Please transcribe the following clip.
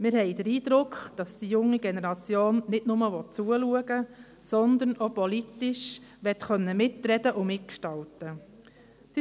Wir haben den Eindruck, dass die junge Generation nicht nur zuschauen will, sondern auch politisch mitreden und mitgestalten möchte.